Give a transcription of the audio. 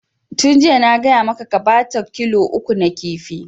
Tun jiya na gaya maka ka bata kilo uku na kifi!